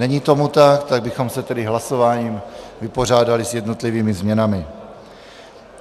Není tomu tak, tak bychom se tedy hlasováním vypořádali s jednotlivými změnami.